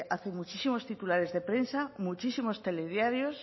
hace muchos titulares de prensa muchísimos telediarios